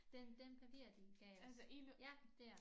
Den den papir de gav os ja dér